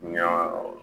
Ɲan